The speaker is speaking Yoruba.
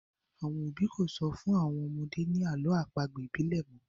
Àwọn òbí kò sọ fún àwọn ọmọdé ni àlọ́ àpagbè ibile mọ